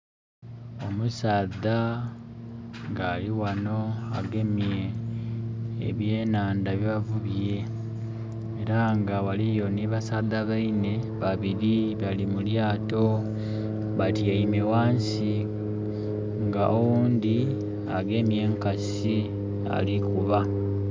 Omusaadha nga ali ghano nga agemye eby'enhandha bye bavubye era nga eriyo ni basaadha baine babiri bali mu lyato, batyaime ghansi nga oghundhi agemye enkasi ali kukuba.